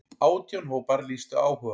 Átján hópar lýstu áhuga.